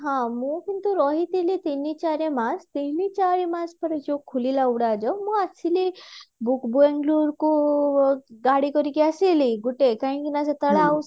ହଁ ମୁଁ କିନ୍ତୁ ରହିଥିଲି ତିନି ଚାରି ମାସ ତିନି ଚାରି ମାସ ପରେ ଯୋଉ ଖୋଲିଲା ଉଡାଜାହାଜ ମୁଁ ଆସିଲି କୁ ଗାଡି କରିକି ଆସିଲି କାହିଁ କି ନା ସେତେବେଳେ